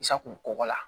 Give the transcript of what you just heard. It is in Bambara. Sago kɔgɔ la